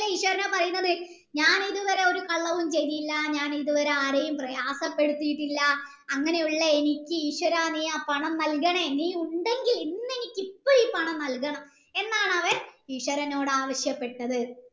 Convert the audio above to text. ഈശ്വരനെ ഭയന്നത് ഞാൻ ഇതുവരെ ഒരു കള്ളവും ചെയ്തില്ല ഞാൻ ഇതുവരെ ആരെയും പ്രയാസപ്പെടുത്തീട്ടില്ല അങ്ങനെയുള്ള എനിക്ക് ഈശ്വര നീ ആ പണം നല്കണേ നീ ഉണ്ടെങ്കിൽ ഇന്നെനിക് ഇപ്പം പണം നല്കണം എന്നാണ് അവൻ ഈശ്വരനോട് ആവശ്യപ്പെട്ടത്